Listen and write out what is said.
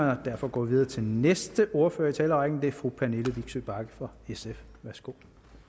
og derfor går vi videre til næste ordfører i talerrækken det er fru pernille vigsø bagge fra sf værsgo